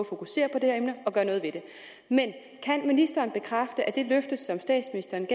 fokusere på det her emne og gøre noget ved det men kan ministeren bekræfte at det løfte som statsministeren